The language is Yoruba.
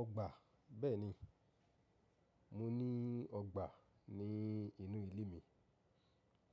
Ọgbà, bẹ́ẹ̀ni. Mo ní ọgbà ní inú ilé mi